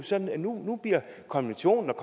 sådan det er nu bliver konventionen